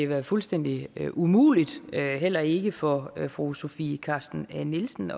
været fuldstændig umuligt heller ikke for fru sofie carsten nielsen